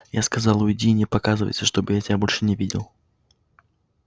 я сказал уйди и не показывайся чтобы я тебя больше не видел